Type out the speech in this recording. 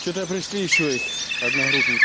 чего то пришли ещё их одногрупники